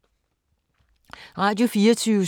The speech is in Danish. Radio24syv